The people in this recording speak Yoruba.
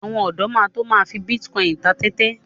Àwọn ọ̀dọ́ máa to my fi bítíkọìnì ta tẹ́tẹ́.